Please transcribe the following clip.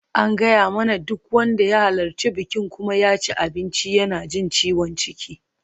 An gaya mana duk wanda ya halarci bikin kuma ya ci abinci yana jin ciwon ciki.